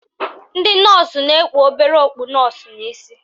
Ndị nọọsụ na-ekpu obere okpu nọọsụ n'isi